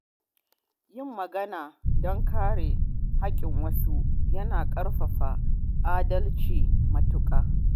Yin magana don kare haƙƙin wasu yana ƙarfafa adalci matuƙa.